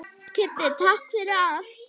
Kiddý, takk fyrir allt.